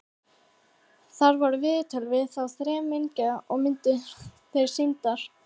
Þar voru viðtöl við þá þremenninga og myndir þeirra sýndar.